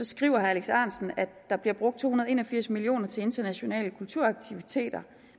skriver at der bliver brugt to hundrede og en og firs million kroner til internationale kulturaktiviteter